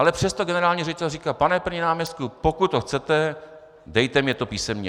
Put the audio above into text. Ale přesto generální ředitel říká: Pane první náměstku, pokud to chcete, dejte mně to písemně.